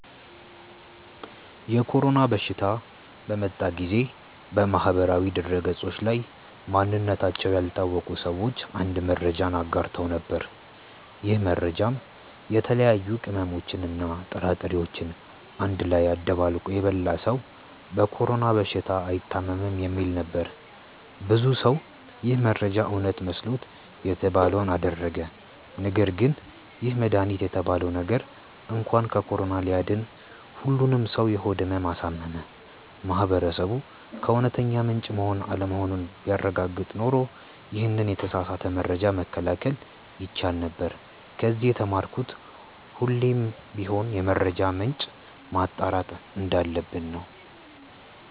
የኮሮና በሽታ በመጣ ጊዜ በማህበራዊ ድህረገጾች ላይ ማንነታቸው ያልታወቀ ሰዎች አንድ መረጃን አጋርተው ነበር። ይህ መረጃም የተለያዩ ቅመሞችን እና ጥራጥሬዎችን አንድ ላይ አደባልቆ የበላ ሰው በኮሮና በሽታ አይታምም የሚል ነበር። ብዙ ሰው ይህ መረጃ እውነት መስሎት የተባለውን አደረገ ነገርግን ይህ መድሃኒት የተባለው ነገር እንኳን ከኮሮና ሊያድን ሁሉንም ሰው የሆድ ህመም አሳመመ። ማህበረሰቡ ከእውነተኛ ምንጭ መሆን አለመሆኑን ቢያረጋግጥ ኖሮ ይሄንን የተሳሳተ መረጃ መከላከል ይቻል ነበር። ከዚ የተማርኩት ሁሌም ቢሆን የመረጃ ምንጭን ማጣራት እንዳለብን ነው።